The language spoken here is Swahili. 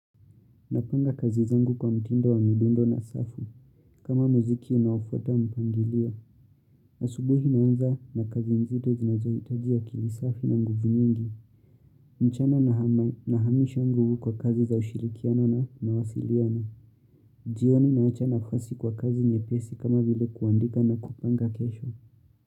Napanga kazi zangu kwa mtindo wa midundo na safu. Kama muziki unaofuata mpangilio. Asubuhi naanza na kazi nzito zinazohitajia akili safi na nguvu nyingi. Mchana nahamisha nguvu kwa kazi za ushirikiano na mawasiliano. Jioni naacha nafasi kwa kazi nyepesi kama vile kuandika na kupanga kesho.